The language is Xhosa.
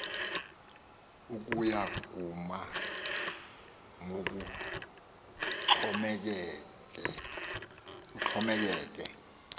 ukuya kuma ngokuxhomekeke